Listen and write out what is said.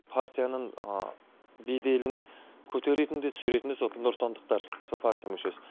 партияның беделін көтеретін де түсіретін де сол нұротандықтар сол партия мүшесі